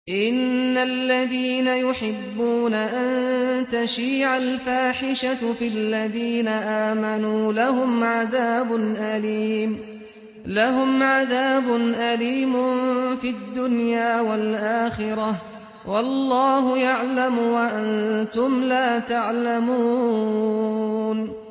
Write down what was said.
إِنَّ الَّذِينَ يُحِبُّونَ أَن تَشِيعَ الْفَاحِشَةُ فِي الَّذِينَ آمَنُوا لَهُمْ عَذَابٌ أَلِيمٌ فِي الدُّنْيَا وَالْآخِرَةِ ۚ وَاللَّهُ يَعْلَمُ وَأَنتُمْ لَا تَعْلَمُونَ